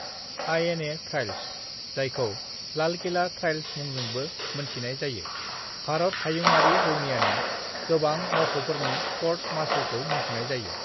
"INA trials, जायखौ Lal Qila trials मुंजोंबो मोनथिनाय जायो, भारत हायुङारि रौनियानि गोबां मावख'फोरनि क'र्ट-मार्शलखौ मुंख'नाय जायो।"